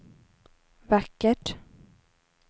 vackert